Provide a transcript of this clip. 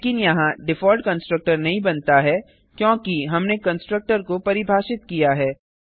लेकिन यहाँ default constructor नहीं बनता है क्योंकि हमने कंस्ट्रक्टर को परिभाषित किया है